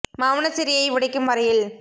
மௌனச் சிறையை உடைக்கும் வரையில்